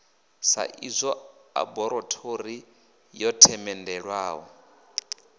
sa idzwo ḽaborathori yo themendelwaho